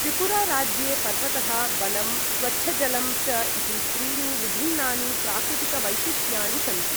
त्रिपुराराज्ये पर्वतः, वनम्, स्वच्छजलं च इति त्रिणि विभिन्नानि प्राकृतिकवैशिष्ट्यानि सन्ति।